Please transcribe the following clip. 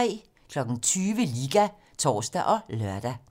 20:00: Liga (tor og lør)